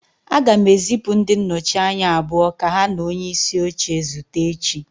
Aga m ezipụ ndị nnọchi anya abụọ ka ha na onyeisi oche zute echi